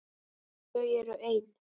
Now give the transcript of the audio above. Þau eru ein.